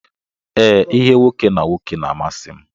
Ee, ihe nwoke na nwoke na amasi m.